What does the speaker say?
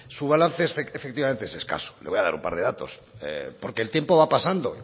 su balance efectivamente es escaso le voy a dar un par de datos porque el tiempo va pasando